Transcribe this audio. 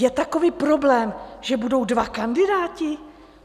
Je takový problém, že budou dva kandidáti?